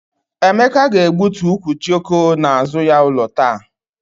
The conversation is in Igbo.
Emeka ga-egbutu ukwu jioko n'azụ ya ụlọ taa.